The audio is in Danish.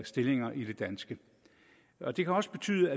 stillinger i det danske og det kan også betyde